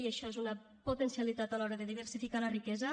i això és una potencialitat a l’hora de diversificar la riquesa